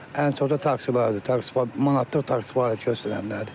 Ən çox da taksilərdir, manatlıq taksi fəaliyyət göstərənlərdir.